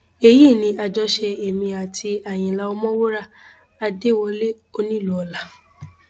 èyí ni àjọṣe èmi àti àyínlá ọmọwúrà adéwọlẹ onílùọlá